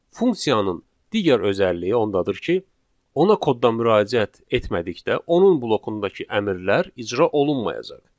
Funksiyanın digər özəlliyi ondadır ki, ona kodda müraciət etmədikdə onun blokundakı əmrlər icra olunmayacaq.